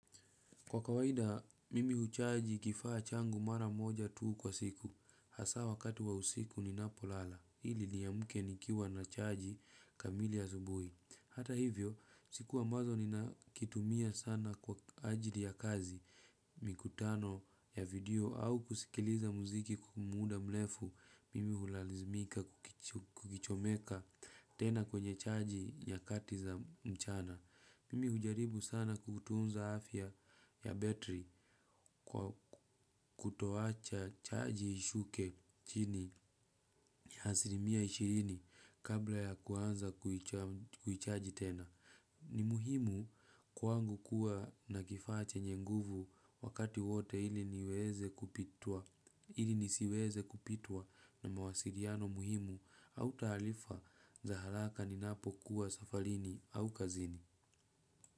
Kwa kawaida, mimi huchaji kifaa changu mara moja tu kwa siku. Hasa wakati wa usiku ninapolala. Ili niamke nikiwa na chaji kamili asubuhi. Hata hivyo, siku ambazo ninakitumia sana kwa ajili ya kazi. Mikutano ya video au kusikiliza muziki kwa muda mrefu. Mimi hulalizimika kukichomeka tena kwenye chaji nyakati za mchana. Mimi hujaribu sana kutunza afya ya battery kwa kutoacha chaji ishuke chini ya asilimia ishirini kabla ya kuanza kuichaji tena. Ni muhimu kwangu kuwa na kifaa chenye nguvu wakati wote ili nisiweze kupitwa na mawasiliano muhimu au taarifa za haraka ninapokuwa safarini au kazini.